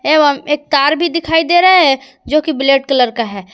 एवं एक कार भी दिखाई दे रहा है जो कि ब्लैक कलर का है।